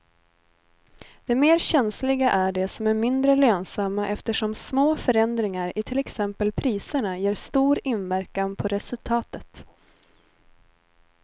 De mer känsliga är de som är mindre lönsamma eftersom små förändringar i till exempel priserna ger stor inverkan på resultatet.